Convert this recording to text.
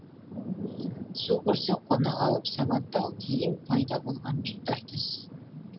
су көрсе қона қалып сабаттау кейін пайда болған үрдіс